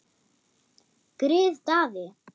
Grið Daði!